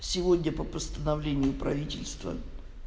сегодня по постановлению правительства